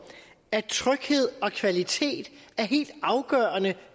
at tryghed og kvalitet er helt afgørende